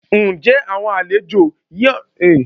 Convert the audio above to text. Ǹjẹ́ àwọn àlejò náà ṣì wà ní yàrá ìgbàlejò?